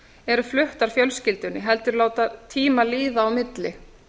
eru fluttar fjölskyldunni heldur láta tíma líða á milli